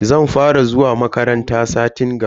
Zan fara zuwa makaranta satin gaba.